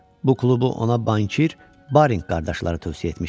Bu klubu ona Bankir Barinq qardaşları tövsiyə etmişdilər.